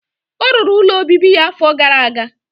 Ọ rụrụ ụlọ obibi ya afọ gara aga.